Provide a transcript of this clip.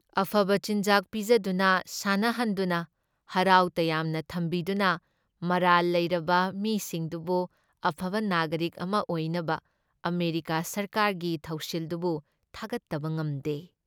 ꯑꯐꯕ ꯆꯤꯟꯖꯥꯛ ꯄꯤꯖꯗꯨꯅ ꯁꯥꯟꯅꯍꯟꯗꯨꯅ, ꯍꯔꯥꯎ ꯌꯥꯝꯅ ꯊꯝꯕꯤꯗꯨꯅ ꯃꯔꯥꯜ ꯂꯩꯔꯕ ꯃꯤꯁꯤꯡꯗꯨꯕꯨ ꯑꯐꯕ ꯅꯥꯒꯔꯤꯛ ꯑꯃ ꯑꯣꯏꯅꯕ ꯑꯃꯦꯔꯤꯀꯥ ꯁꯔꯀꯥꯔꯒꯤ ꯊꯧꯁꯤꯜꯗꯨꯕꯨ ꯊꯥꯒꯠꯇꯕ ꯉꯝꯗꯦ ꯫